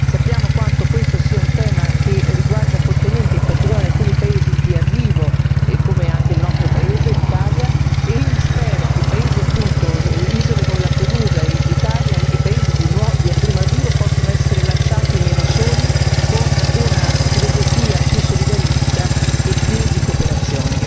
Sappiamo quanto questo sia un tema che riguarda fortemente, in particolare alcuni paesi di arrivo come anche il nostro paese, l'Italia quindi spero che i paesi appunto, isole come Lampedusa, l'Italia e i paesi di primo arrivo, possono essere lasciati meno soli con una filosofia più solidarista e più di cooperazione.